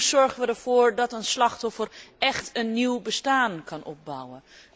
Hoe zorgen wij ervoor dat een slachtoffer écht een nieuw bestaan kan opbouwen?